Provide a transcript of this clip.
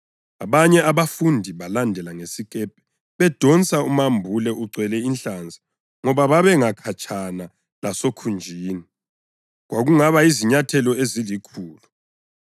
Abanye abafundi balandela ngesikepe bedonsa umambule ugcwele inhlanzi ngoba babengakhatshana lasokhunjini, kwakungaba yizinyathelo ezilikhulu.